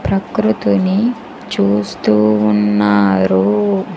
ప్రకృతిని చూస్తూ ఉన్నారు.